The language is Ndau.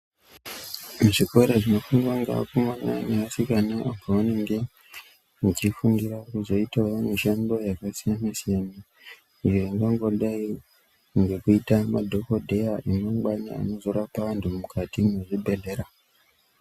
Muzvikora zvinofundwa ngeakomana neasikana pavanenge vechifundira kuzoitawo mishando yakasiyana siyana ingangodai ngekuita madhokodheya emangwana anozorapa antu mukati mezvibhedhlera.